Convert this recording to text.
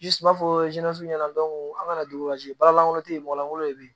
Ji suma fɔ ɲɛna an kana baara lankolon tɛ yen mɔgɔ lankolon de be yen